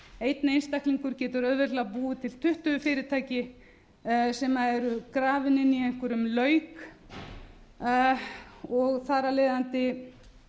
einn einstaklingur getur auðveldlega búið til tuttugu fyrirtæki sem eru grafin inni í einhverjum lauk og þar af leiðandi